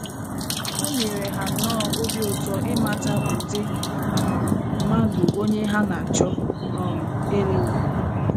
O nyere ha nnọọ obi ụtọ ịmata ụdị um mmadụ onye ha na - achọ um ịlụ bụ!